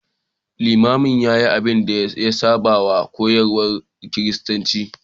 Limamin ya yi abin da ya saba wa koyarwar Kiristanci.